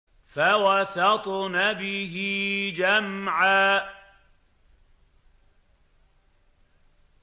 فَوَسَطْنَ بِهِ جَمْعًا